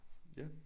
Ja